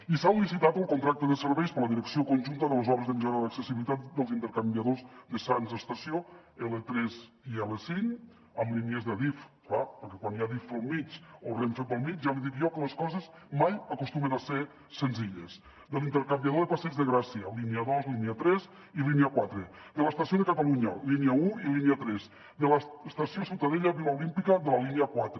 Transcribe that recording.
i s’ha licitat el contracte de serveis per a la direcció conjunta de les obres de millora de l’accessibilitat dels intercanviadors de sants estació l3 i l5 amb línies d’adif clar perquè quan hi ha adif pel mig o renfe pel mig ja li dic jo que les coses mai acostumen a ser senzilles de l’intercanviador de passeig de gràcia línia dos línia tres i línia quatre de l’estació de catalunya línia un i línia tres de l’estació ciutadella vila olímpica de la línia quatre